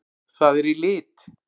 Það er í lit!